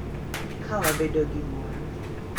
Ka wabedo gi mor,